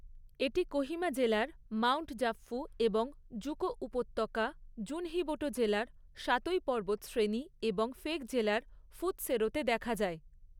এটি কোহিমা জেলার মাউণ্ট জাপফু এবং জুকো উপত্যকা, জুনহিবোটো জেলার সাতোই পর্বতশ্রেণী এবং ফেক জেলার প্‌ফুতসেরোতে দেখা যায়।